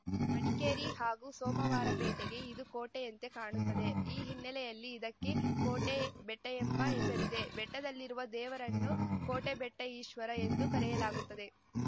ಮಡಿಕೇರಿ ಹಾಗೂ ಸೋಮವಾರಪೇಟೆಗೆ ಇದು ಕೋಟೆಯಂತೆ ಕಾಣುತ್ತದೆ ಈ ಹಿನ್ನೆಲೆಯಲ್ಲಿ ಇದಕ್ಕೆ ಕೋಟೆ ಬೆಟ್ಟಎಂಬ ಹೆಸರಿದೆ ಬೆಟ್ಟದಲ್ಲಿರುವ ದೇವರನ್ನು ಕೋಟೆಬೆಟ್ಟಈಶ್ವರ ಎಂದು ಕರೆಯಲಾಗುತ್ತದೆ